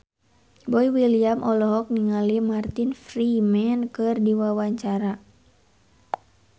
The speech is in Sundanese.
Boy William olohok ningali Martin Freeman keur diwawancara